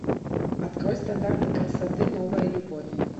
открой стандарты красоты новая любовь